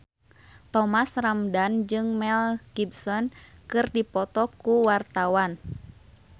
Thomas Ramdhan jeung Mel Gibson keur dipoto ku wartawan